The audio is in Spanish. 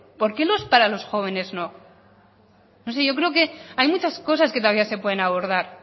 por qué para los jóvenes no no sé yo creo que hay muchas cosas que todavía se pueden abordar